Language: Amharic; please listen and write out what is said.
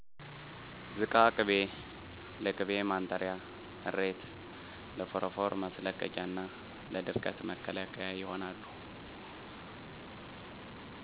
ዝቃ ቅቤ ለቅቤ ማንጠሪያ እሬት ለፎረፎር ማስለቀቂያና ለድርቀት መከላከያ ይሆናሉ